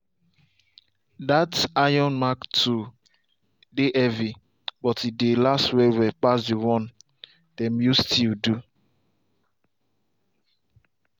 that iron mark tool dey heavy but e dey last well well pass the one dem use steel do.